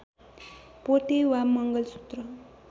पोते वा मङ्गलसूत्र